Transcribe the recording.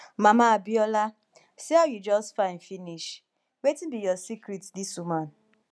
mama abiola see how you just fine finish wetin be your secret dis woman